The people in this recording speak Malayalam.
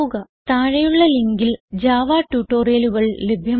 താഴെയുള്ള ലിങ്കിൽ ജാവ ട്യൂട്ടോറിയലുകൾ ലഭ്യമാണ്